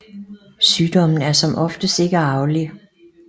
Sygdommen er som oftest ikke arvelig